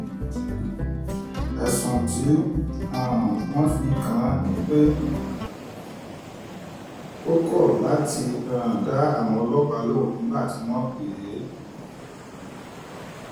ẹ̀sùn tí um wọ́n fi kàn án ni pé ó kọ́ láti um dá àwọn ọlọ́pàá lóun nígbà tí wọ́n pè é